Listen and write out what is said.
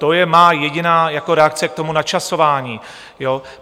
To je má jediná reakce k tomu načasování.